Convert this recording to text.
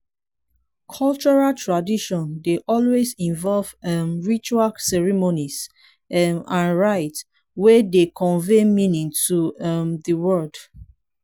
cultural tradition dey always involve um ritual ceremonies um and rites wey dey convey meaning to um di world